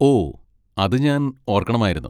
ഓ, അത് ഞാൻ ഓർക്കണമായിരുന്നു.